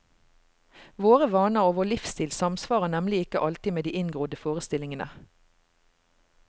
Våre vaner og vår livsstil samsvarer nemlig ikke alltid med de inngrodde forestillingene.